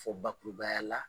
Fɔ bakurubaya la.